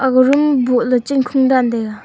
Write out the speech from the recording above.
ga room bohley chong khung dan taiga.